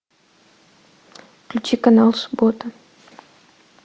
включи канал суббота